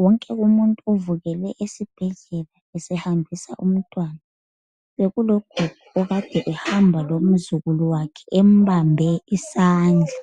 Wonke umuntu u uvukele esibhedlela esehambisa umntwana . Bekulogogo okade ehamba lomzukulu wakhe embambe isandla.